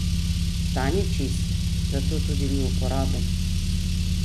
Ta ni čist, zato tudi ni uporaben.